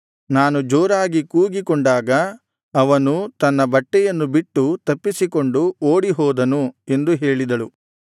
ನಾನು ಜೋರಾಗಿ ಕೂಗಿಕೊಂಡಾಗ ಅವನು ತನ್ನ ಬಟ್ಟೆಯನ್ನು ಬಿಟ್ಟು ತಪ್ಪಿಸಿಕೊಂಡು ಓಡಿಹೋದನು ಎಂದು ಹೇಳಿದಳು